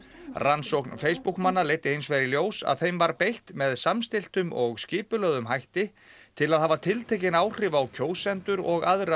rannsókn Facebook manna leiddi hins vegar í ljós að þeim var beitt með samstilltum og skipulögðum hætti til að hafa tiltekin áhrif á kjósendur og aðra